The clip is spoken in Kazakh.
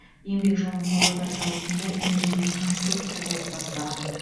еңбек жолын павлодар зауытында инженер конструктор болып бастаған